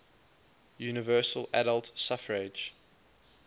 universal adult suffrage